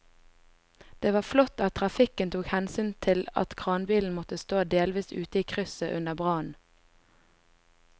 Det var flott at trafikken tok hensyn til at kranbilen måtte stå delvis ute i krysset under brannen.